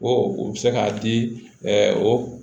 O u bɛ se k'a di o